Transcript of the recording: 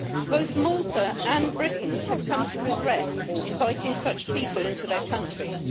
Both Malta and Britain have come to regret inviting such people into their countries.